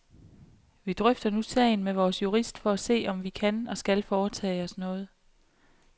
Vi drøfter nu sagen med vores jurist for at se, om vi kan og skal foretage os noget.